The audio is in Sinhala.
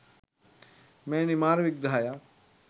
මෙවැනි මාර විග්‍රහයක්